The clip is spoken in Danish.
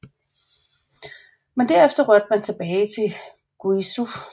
Men derefter rykkede man tilbage til Guizhou